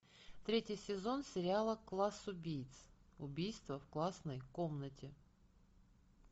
третий сезон сериала класс убийц убийство в классной комнате